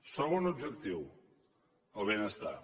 segon objectiu el benestar